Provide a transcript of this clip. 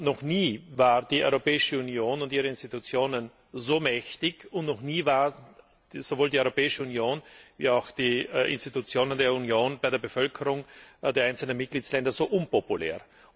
Noch nie waren die Europäische Union und ihre Institutionen so mächtig, und noch nie waren sowohl die Europäische Union als auch die Institutionen der Union bei der Bevölkerung der einzelnen Mitgliedstaaten so unpopulär.